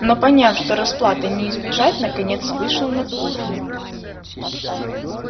но поняв что расплаты не избежать наконец вышел на кухню